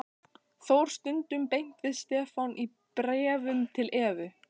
Þór stundum beint við Stefán í bréfum til Evu.